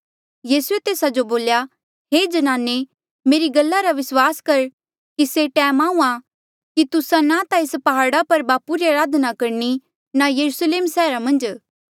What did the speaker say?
यीसूए तेस्सा जो बोल्या हे ज्नाने मेरी गल्ला रा विस्वास कर कि से टैम आहूँआं कि तुस्सा ना ता एस प्हाड़ा पर बापू री अराधना करणी ना यरुस्लेम सैहरा मन्झ